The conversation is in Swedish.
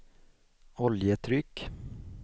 oljetryck